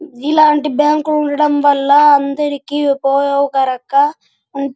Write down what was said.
ఇలాంటి బ్యాంకు ఉండడం వల్లనా అందరికి ఉపయోగ కరంగా ఉంటు--